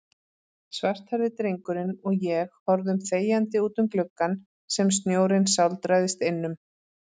Svarthærði drengurinn og ég horfum þegjandi útum gluggann sem snjórinn sáldrast innum.